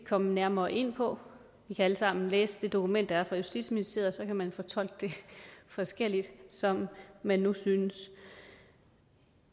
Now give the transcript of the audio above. komme nærmere ind på vi kan alle sammen læse det dokument der er fra justitsministeriet og så kan man fortolke det forskelligt som man nu synes